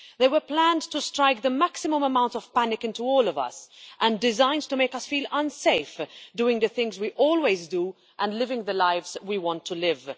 They were planned to strike the maximum amount of panic into all of us and designed to make us feel unsafe doing the things we always do, and living the lives that we want to live.